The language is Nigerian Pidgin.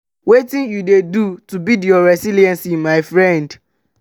wetin you dey do to build your resilience my friend?